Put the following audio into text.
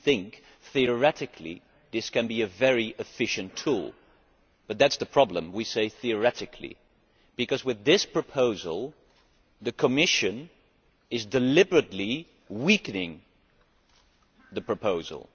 We think that, theoretically, this can be a very efficient tool. But that is the problem, we say theoretically, because with this proposal the Commission is deliberately weakening the proposal.